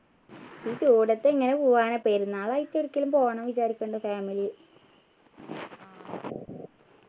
ഈ ചൂടത്തു എങ്ങനെ പോകാനാ പെരുന്നാൾ ആയിട്ട് എവിടേക്കെലും പോകണം വിചാരിക്കുന്നുണ്ട് family